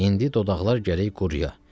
İndi dodaqlar gərək quruya.